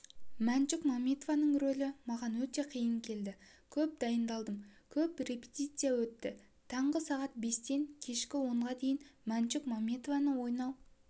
мәншүк мәметованың ролі маған өте қиын келді көп дайындалдым көп репетиция өтті таңғы сағат бестен кешкі онға дейін мәншүк мәметованы лйнау